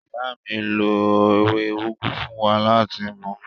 Ìyá mi lo ewé úgú fún wa láti mu.